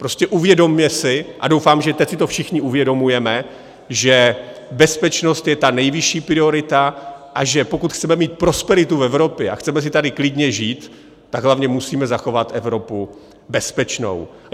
Prostě uvědomme si - a doufám, že teď si to všichni uvědomujeme - že bezpečnost je ta nejvyšší priorita, a že pokud chceme mít prosperitu v Evropě a chceme si tady klidně žít, tak hlavně musíme zachovat Evropu bezpečnou.